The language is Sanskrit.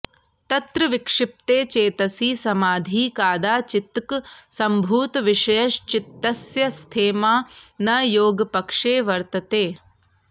तत्र विक्षिप्ते चेतसि समाधिः कादाचित्कः सम्भूतविषयश्चित्तस्य स्थेमा न योगपक्षे वर्तते